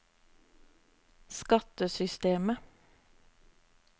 skattesystemet